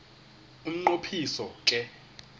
umnqo phiso ke